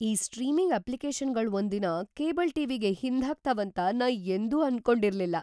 ಈ ಸ್ಟ್ರೀಮಿಂಗ್ ಅಪ್ಲಿಕೇಶನ್‌ಗಳ್ ಒಂದಿನ ಕೇಬಲ್ ಟಿ.ವಿ.ಗೆ ಹಿಂದ್ಹಾಕ್ತಾವಂತ ನಾ ಯೆಂದೂ ಅನ್ಕೊಂಡಿರ್ಲಿಲ್ಲ.